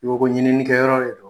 I ko ko ɲininnikɛyɔrɔ de do.